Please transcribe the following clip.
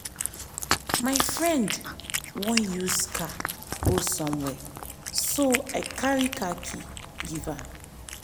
my friend wan use car go somewhere so i carry the car key give am